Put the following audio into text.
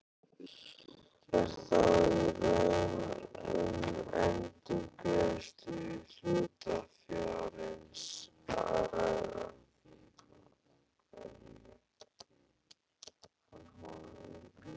Er þá í raun um endurgreiðslu hlutafjárins að ræða.